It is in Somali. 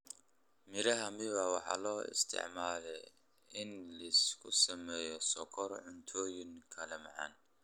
Miraha miwa waxaa loo isticmaalaa inlsgu sameeyo sokor cuntooyin kaleoo macaan.